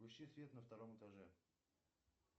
включи свет на втором этаже